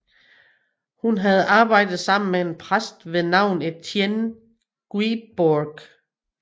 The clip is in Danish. Hun havde arbejdet sammen med en præst ved navn Étienne Guibourg